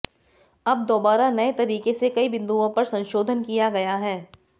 अब दोबारा नए तरीके से कई बिंदुओं पर संशोधन किया गया है